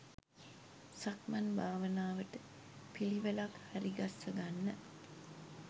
සක්මන් භාවනාවට පිළිවෙලක් හරිගස්ස ගන්න.